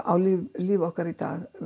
á líf líf okkar í dag